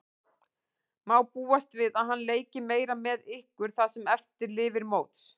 Má búast við að hann leiki meira með ykkur það sem eftir lifir móts?